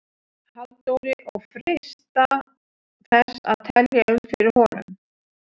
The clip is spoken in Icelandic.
Halldóri og freista þess að telja um fyrir honum.